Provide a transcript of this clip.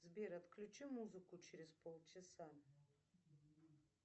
сбер отключи музыку через полчаса